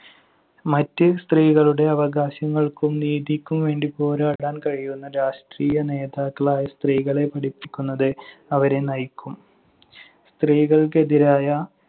മറ്റ് സ്ത്രീകളുടെ അവകാശങ്ങൾക്കും നീതിക്കും വേണ്ടി പോരാടാൻ കഴിയുന്ന രാഷ്ട്രീയ നേതാക്കളായി സ്ത്രീകളെ പഠിപ്പിക്കുന്നത് അവരെ നയിക്കും. സ്ത്രീകൾക്കെതിരായ